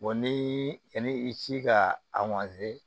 ni ani i ci ka